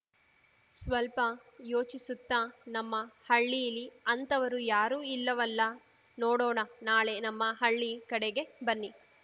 ಸ್ವಲ್ಪ ಯೋಚಿಸುತ್ತಾ ನಮ್ಮ ಹಳ್ಳೀಲಿ ಅಂಥವರು ಯಾರೂ ಇಲ್ಲವಲ್ಲಾ ನೋಡೋಣನಾಳೆ ನಮ್ಮ ಹಳ್ಳಿ ಕಡೆಗೇ ಬನ್ನಿ